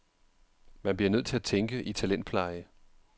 Man bliver nødt til at tænke i talentpleje.